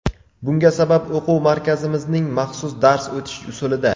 Bunga sabab o‘quv markazimizning maxsus dars o‘tish usulida.